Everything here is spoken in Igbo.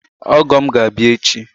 Ọgọ ga-abịa echi